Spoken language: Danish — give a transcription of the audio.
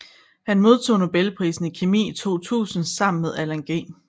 Han modtog nobelprisen i kemi i 2000 sammen med Alan G